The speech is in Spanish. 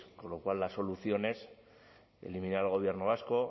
con lo cual la solución es eliminar al gobierno vasco